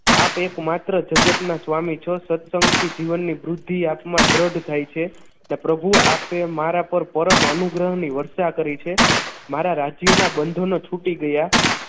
આપ એકમાત્ર જગતના સ્વામી છો સત્સંગથી જીવનની વૃધ્ધિ આત્મા દ્રઢ થાય છે અને પ્રભુ આપે મારા પર પરમ અનુગ્રહ ની વર્ષા કરી છે મારા રાજ્યોના બંધોનો છૂટી ગયા